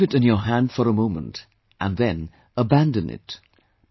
You receive it in your hand for a moment and then abandon it